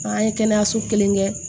An ye kɛnɛyaso kelen kɛ